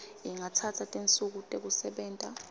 ingatsatsa tinsuku tekusebenta